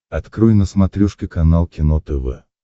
открой на смотрешке канал кино тв